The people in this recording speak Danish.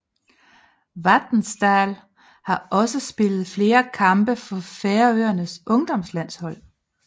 Vatnsdal har også spillet flere kampe for Færøernes ungdomslandshold